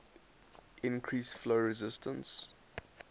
increase flow resistance